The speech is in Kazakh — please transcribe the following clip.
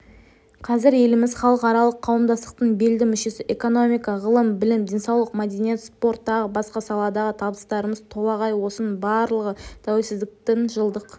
қазір еліміз халықаралық қауымдастықтың белді мүшесі экономика ғылым білім денсаулық мәдениет спорт тағы басқа саладағы табыстарымыз толағай осының барлығы тәуелсіздіктің жылдық